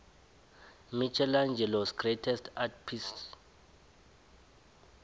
michaelangelos greatest art piece